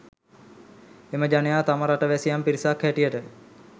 එම ජනයා තම රට වැසියන් පිරිසක් හැටියට